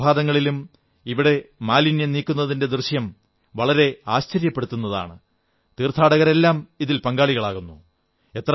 എല്ലാ പ്രഭാതങ്ങളിലും ഇവിടെ മാലിന്യം നീക്കുന്നതിന്റെ ദൃശ്യം വളരെ ആശ്ചര്യപ്പെടുത്തുന്നതാണ് തീർത്ഥാടകരെല്ലാം ഇതിൽ പങ്കാളികളാകുന്നു